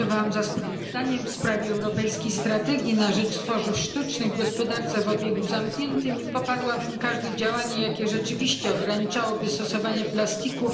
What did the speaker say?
Głosowałam za sprawozdaniem w sprawie europejskiej strategii na rzecz tworzyw sztucznych w gospodarce o obiegu zamkniętym i poparłabym każde działanie, jakie rzeczywiście ograniczałoby stosowanie plastików.